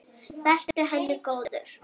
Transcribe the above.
Vertu henni góður.